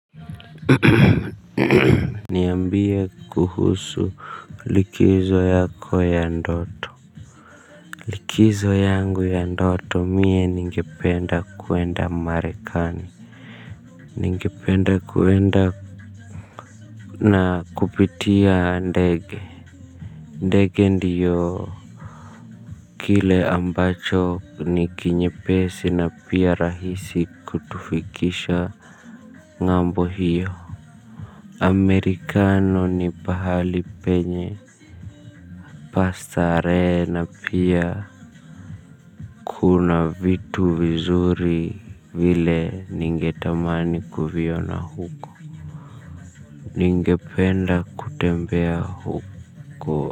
Niambia kuhusu likizo yako ya ndoto likizo yangu ya ndoto mie ningependa kuenda marekani ningependa kuenda na kupitia ndege ndege ndiyo kile ambacho ni kinyepesi na pia rahisi kutufikisha ngambo hiyo amerika ni pahali penye pa starehe na pia kuna vitu vizuri vile ningetamani kuviona huko ningependa kutembea huko.